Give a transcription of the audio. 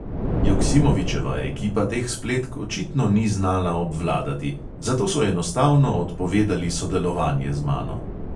Joksimovičeva ekipa teh spletk očitno ni znala obvladati, zato so enostavno odpovedali sodelovanje z mano.